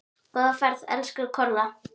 Góða ferð, elsku Kolla.